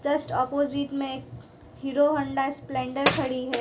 Just opposite में Hero Honda Splendor खड़ी है।